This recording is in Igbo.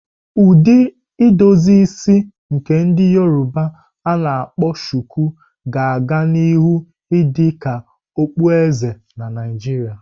Ụdị edozi isi nke ndi Yoroba a-na akpo shuku, ga a-ga nihu idị ka okpueze na Naijiria.